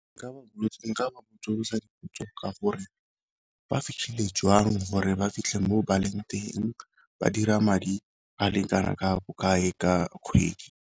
Nka botsolosa dipotso ka gore ba fitlhile jwang gore ba fitlhe mo baleng teng, ba dira madi a lekana ka bokae ka kgwedi.